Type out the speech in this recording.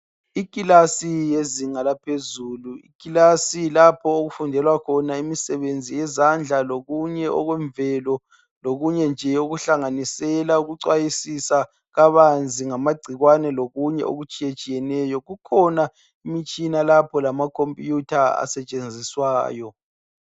Ikilasi yezinga laphezulu ikilasi lapho okufundelwa khona imisebenzi yezandla lokunye okwemvelo lokunye nje okuhlanganisela ukuchwayisisa kabanzi ngamagcikwane lokunye okutshiye tshiyeneyo kukhona imitshina lapho lamakhompuyutha asetshenziswayo.